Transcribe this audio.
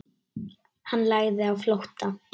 Hann lagði á flótta.